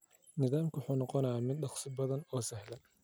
Nidaamku wuxuu noqonayaa mid dhakhso badan oo sahlan.